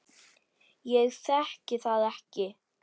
Ég þekki það ekki.